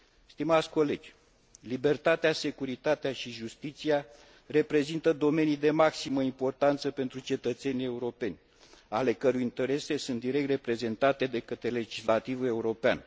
Doamnelor și domnilor, libertatea, securitatea și justiția reprezintă domenii de maximă importanță pentru cetățenii europeni ale căror interese sunt direct reprezentate de către legislativul european.